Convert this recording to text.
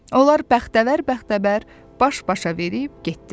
Onlar bəxtəvər-bəxtəvər baş-başa verib getdilər.